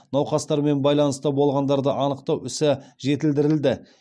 науқастармен байланыста болғандарды анықтау ісі жетілдірілді